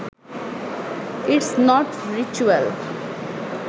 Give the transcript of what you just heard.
it's not ritual